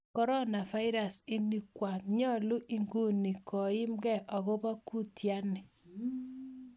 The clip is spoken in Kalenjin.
coronavirus, ini kwang nyalun ikuni kimkeng akopa kuiten nii?